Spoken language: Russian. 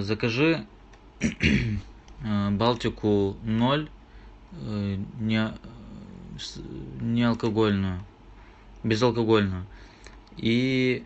закажи балтику ноль неалкогольную безалкогольную и